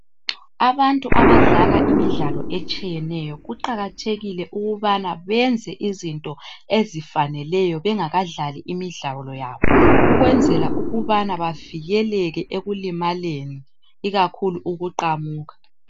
Abantu abadlala imidlalo etshiyeneyo kuqakathekile ukubana benze izinto ezifaneleyo bengaka dlali imidlalo yabo ukwenzela ukubana bavikeleke ekulimaleni ikakhulu ukuqamuka.